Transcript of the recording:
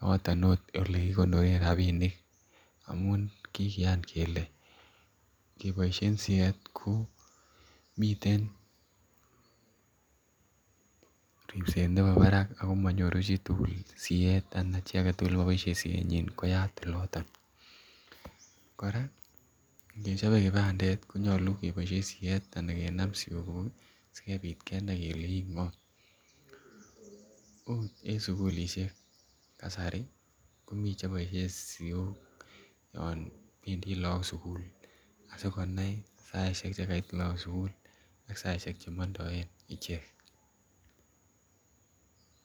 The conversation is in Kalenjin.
yoton it ole kigonoren rabinik amun kikiyan kelee koboishen siet ko miten ripset nebo barak ako monyoru siet ana Chi agetugul ne koboishen sienyin koyat oloton, koraa nge chobe kibandet ko nyolu koboishen siet anan kenam siyogug ii asikopit konai kelee ingo ot en sukulishek kasari ko miten Che boishen siok yon bendii look sukul asi konai saishek Che Kait look sukul ak saishek Che mondoen icheget.